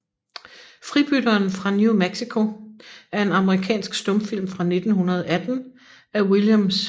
Fribytteren fra New Mexico er en amerikansk stumfilm fra 1918 af William S